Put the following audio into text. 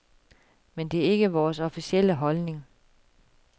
Men det er ikke vores officielle holdning.